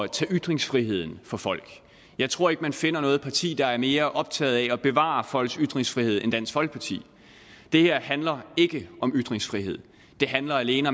tage ytringsfriheden fra folk jeg tror ikke man finder noget parti der er mere optaget af at bevare folks ytringsfrihed end dansk folkeparti det her handler ikke om ytringsfrihed det handler alene